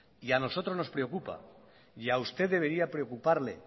y a nosotros nos preocupa y a usted debería preocuparle